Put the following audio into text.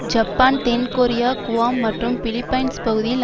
Japan தென் Korea Guam மற்றும் Philippines பகுதியில்